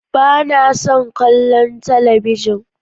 Ba na son kallon talabijin.